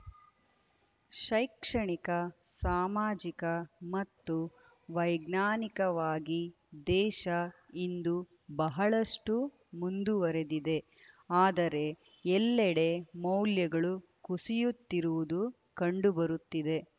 ಶೈಕ್ಷಣಿಕ ಸಾಮಾಜಿಕ ಮತ್ತು ವೈಜ್ಞಾನಿಕವಾಗಿ ದೇಶ ಇಂದು ಬಹಳಷ್ಟುಮುಂದುವರೆದಿದೆ ಆದರೆ ಎಲ್ಲೆಡೆ ಮೌಲ್ಯಗಳು ಕುಸಿಯುತ್ತಿರುವುದು ಕಂಡು ಬರುತ್ತಿದೆ